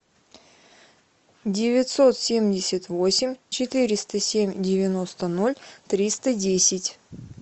девятьсот семьдесят восемь четыреста семь девяносто ноль триста десять